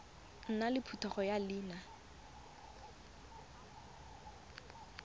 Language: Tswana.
nna le phetogo ya leina